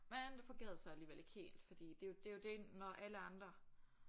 Men det fungerede så alligevel ikke helt fordi det er jo det er jo det når alle andre